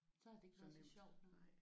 Så havde det ikke været så sjovt